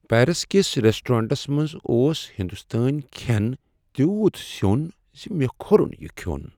Paris کس restaurants منٛز اوس ہنٛدستٲنۍ کھین تیوت سیوٚن ز مےٚ کھوٚرن یہ کھیوٚن۔